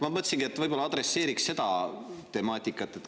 Ma mõtlesingi, et võib-olla adresseeriks seda temaatikat.